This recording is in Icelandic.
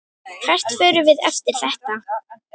Hvert förum við eftir þetta?